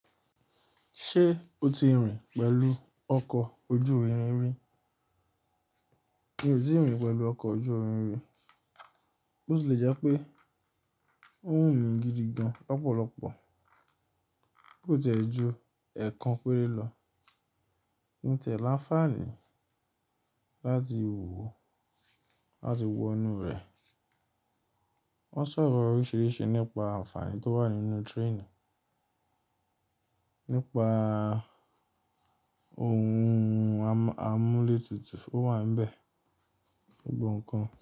Ṣé o ti rìn pẹ̀lú ọkọ̀ ojú irin rí? Mi ò tíì rìn pẹ̀lú ọkọ̀ ojú irin rí. Bút lè jẹ́ pé n ówumi rìn gidi gan lọ́pọ̀lọ́pọ̀. Bút ẹ̀ jẹ́ ju ẹ̀kan péré lọ. Ǹtẹ́ là ń fani láti wo, láti wo inú rẹ̀. Wọ́n sọ̀rọ̀ oríṣiríṣi nípa àǹfààní tó wà nínú trainì, nípa ohun amúlé tutù tó wà níbẹ̀ gbogbo ǹkan.